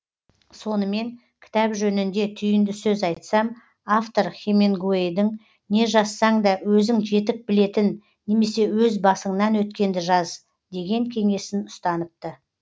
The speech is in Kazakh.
сонымен кітап жөнінде түйінді сөз айтсам автор хемингуэйдің не жазсаң да өзің жетік білетін немесе өз басыңнан өткенді жаз деген кеңесін ұстаныпты